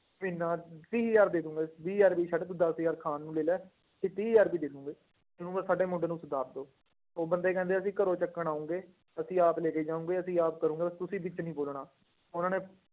ਇੰਨਾ ਤੀਹ ਹਜ਼ਾਰ ਦੇ ਦਵਾਂਗੇ ਵੀਹ ਹਜ਼ਾਰ ਵੀ ਛੱਡ ਤੂੰ ਦਸ ਹਜ਼ਾਰ ਖਾਣ ਨੂੰ ਲੈ ਲਾ ਤੇ ਤੀਹ ਹਜ਼ਾਰ ਰੁਪਏ ਦੇ ਦਓਗੇ, ਇਹਨੂੰ ਬਸ ਸਾਡੇ ਮੁੰਡੇ ਨੂੰ ਸੁਧਾਰ ਦਓ, ਉਹ ਬੰਦੇ ਕਹਿੰਦੇ ਅਸੀਂ ਘਰੋਂ ਚੱਕਣ ਆਓਗੇ ਅਸੀਂ ਆਪ ਲੈ ਕੇ ਜਾਵਾਂਗੇ ਅਸੀਂ ਆਪ ਕਰਾਂਗੇ ਤੁਸੀਂ ਵਿੱਚ ਨੀ ਬੋਲਣਾ ਉਹਨਾਂ ਨੇ